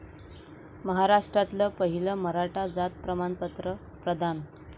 महाराष्ट्रातलं पहिलं मराठा जात प्रमाणपत्र प्रदान